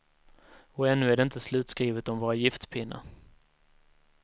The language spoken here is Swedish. Och ännu är det inte slutskrivet om våra giftpinnar.